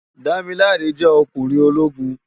Damilare jè okúnrin ólógún